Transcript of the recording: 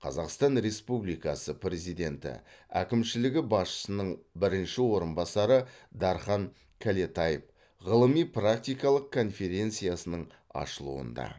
қазақстан республикасы президенті әкімшілігі басшысының бірінші орынбасары дархан кәлетаев ғылыми практикалық конференцияның ашылуында